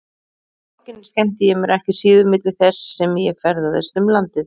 Í borginni skemmti ég mér ekki síður milli þess sem ég ferðaðist um landið.